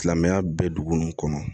Silamɛya bɛɛ dugu nunnu kɔnɔ